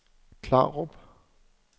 Klarup